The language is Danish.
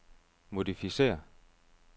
modificér